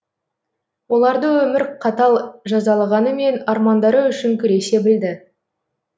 оларды өмір қатал жазалағанымен армандары үшін күресе білді